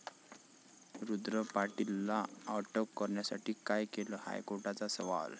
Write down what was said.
रुद्र पाटीलला अटक करण्यासाठी काय केलं?, हायकोर्टाचा सवाल